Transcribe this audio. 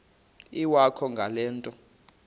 iwakho ngale nto